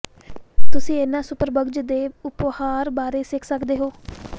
ਤੁਸੀਂ ਇਹਨਾਂ ਸੁਪਰਬਗਜ਼ ਦੇ ਉਭਾਰ ਬਾਰੇ ਸਿੱਖ ਸਕਦੇ ਹੋ